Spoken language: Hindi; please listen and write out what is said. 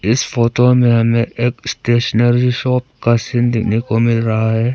इस फोटो में हमें एक स्टेशनरी शॉप का सीन देखने को मिल रहा है।